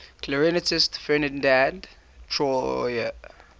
clarinetist ferdinand troyer